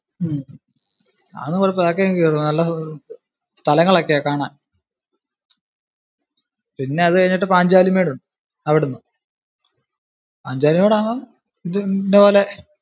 ഉം അതൊന്നും കുഴപ്പമില്ല അതൊക്കെ നല്ല സ്ഥലങ്ങൾ ഒക്കെയാ കാണാൻ. പിന്നതു കഴിഞ്ഞിട്ട് പാഞ്ചാലി മേടുണ്ട് അവിടുന്ന് പാഞ്ചാലി മേട് ആവാം പോലെ.